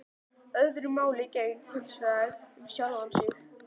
Öðru máli gegndi hinsvegar um sjálfan mig.